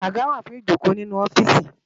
Àgá wá fún ijókó ninú òfìsí